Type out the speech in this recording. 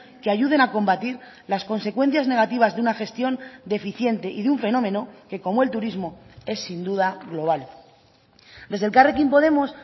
que ayuden a combatir las consecuencias negativas de una gestión deficiente y de un fenómeno que como el turismo es sin duda global desde elkarrekin podemos